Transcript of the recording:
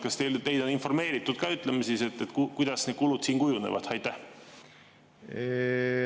Kas teid on informeeritud ka, kuidas need kulud siin kujunevad?